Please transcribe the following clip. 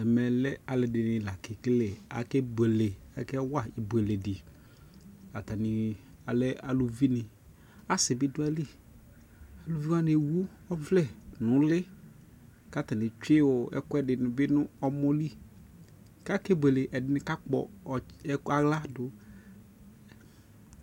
Ɛmɛ lɛ ali di la kɛ kekele Akɛ buele aka wa ibuele di Atani alɛ aluvi ni Asi bi du ayi li Aluvi wani ɛwu ɔvlɛ nu li Katani etsue ɛkuɛdi ni bi nɛ mɔ li ka kɛ buele Ɛdini kapkɔ ka kua ɣla du